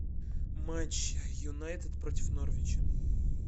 матч юнайтед против норвича